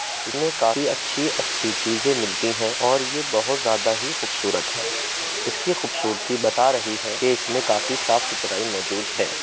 इसमें काफी अच्छी-अच्छी चीजे मिलती हैं और ये बहोत ज्यादा ही खूबसूरत है इसकी खूबसूरती बता रही है की इसमें काफी साफ सुथुराई मौजूद है।